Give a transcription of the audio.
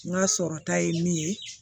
N ka sɔrɔta ye min ye